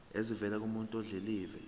esivela kumuntu odilive